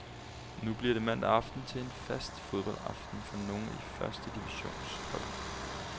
Nu bliver mandag aften til en fast fodboldaften for nogle af første divisions hold.